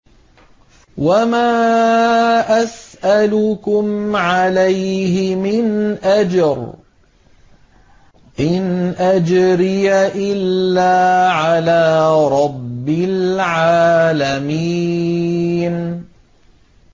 وَمَا أَسْأَلُكُمْ عَلَيْهِ مِنْ أَجْرٍ ۖ إِنْ أَجْرِيَ إِلَّا عَلَىٰ رَبِّ الْعَالَمِينَ